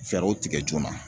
Fɛɛrɛw tigɛ joona.